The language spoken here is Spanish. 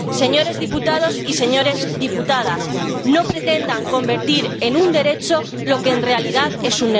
Señores diputados y señoras diputadas, no pretendan convertir en un derecho lo que en realidad es